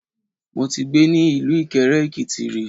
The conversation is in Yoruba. Mo ti gbé ni ilú Ìkẹrẹ-Èkìti ri